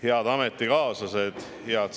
Head ametikaaslased!